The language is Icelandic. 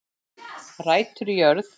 Rætur í jörð